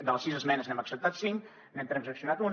de les sis esmenes n’hem acceptat cinc n’hem transaccionat una